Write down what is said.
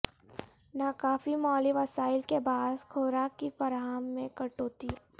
ناکافی مالی وسائل کے باعث خوراک کی فراہم میں کٹوتی